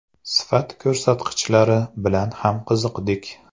Sifat ko‘rsatkichlari bilan ham qiziqdik.